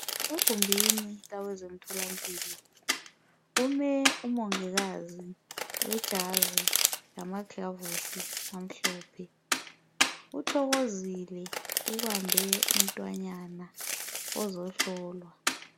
Egumbini lakwezemtholampilo kume umongikazi wejazi lamagilovisi amhlophe uthokozile ubambe umntwanyana ozohlolwa.